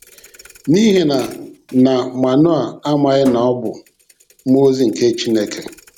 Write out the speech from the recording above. N'ihi na na Manoa amaghi na ọ bụ mmụọ ozi nke Chineke.